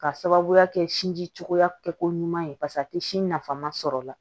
K'a sababuya kɛ sinji cogoya kɛ ko ɲuman ye paseke a tɛ sin nafama sɔrɔ la